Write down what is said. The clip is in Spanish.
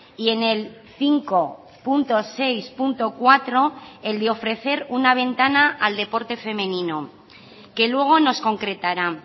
y en el cinco punto seis punto cuatro el de ofrecer una ventana al deporte femenino que luego nos concretará